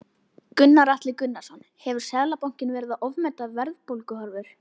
Gunnar Atli Gunnarsson: Hefur Seðlabankinn verið að ofmeta verðbólguhorfur?